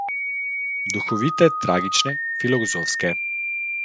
Duhovite, tragične, filozofske.